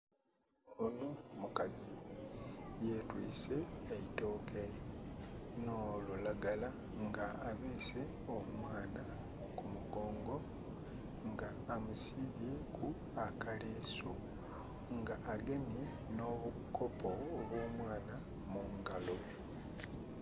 Onho mukazi yetwise eitooke nh'olulagala, nga abeese omwana ku mugongo nga amusibyeku akaleesu, nga agemye obukopo obw'omwana mungalo.